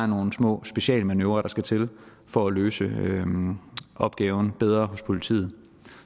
nogle små specialmanøvrer der skal til for at løse opgaven bedre hos politiet